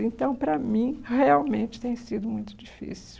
Então, para mim, realmente tem sido muito difícil.